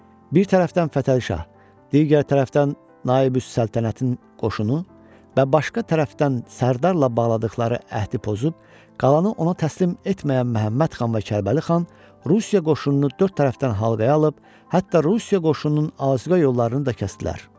Bir tərəfdən Fətəli Şah, digər tərəfdən Naibüs Səltənətin qoşunu və başqa tərəfdən Sərdarla bağladıqları əhdi pozub qalanı ona təslim etməyən Məhəmməd xan və Kərbəli xan Rusiya qoşununu dörd tərəfdən halqaya alıb, hətta Rusiya qoşununun asüqə yollarını da kəsdilər.